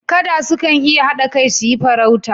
Kada sukan iya hada kai su yi farauta